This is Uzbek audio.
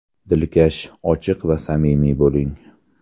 Dilkash, ochiq va samimiy bo‘ling.